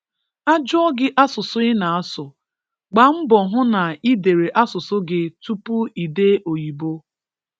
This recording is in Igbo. A jụọ gị asụsụ ị na-asụ, gba mbọ hụ na i dere asụsụ gị tupu i dee oyibo